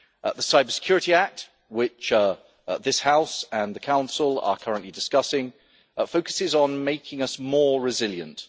The Cyber Security Act, which this House and the Council are currently discussing, focuses on making us more resilient.